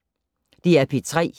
DR P3